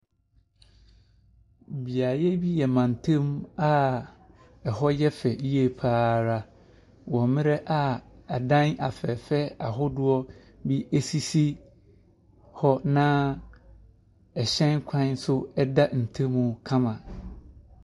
Beaeɛ bi yɛ mantam a ɛhɔ yɛ fɛ yie pa ara, wɔ mmerɛ a adan afɛɛfɛɛ ahodoɔ bi sisi hɔ, na ɛhyɛn kwan nso da ntam kama.